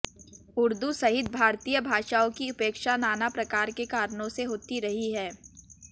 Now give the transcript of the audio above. उर्दू सहित भारतीय भाषाओं की उपेक्षा नानाप्रकार के कारणों से होती रही है